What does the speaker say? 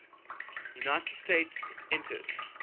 united states entered